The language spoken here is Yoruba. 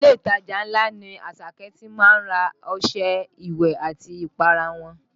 Ilé ìtajà ńlá ni Àṣàkẹ́ ti má ń ra ọṣẹ ìwẹ̀ àti ìpara wọn